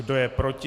Kdo je proti?